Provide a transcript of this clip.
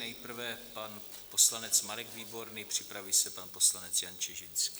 Nejprve pan poslanec Marek Výborný, připraví se pan poslanec Jan Čižinský.